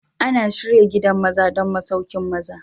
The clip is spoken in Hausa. Ana shirya gidan maza don masauƙin maza.